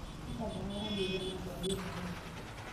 Peter ndararanĩria na andũ a bamĩrĩ yake.